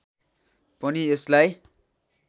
पनि यसलाई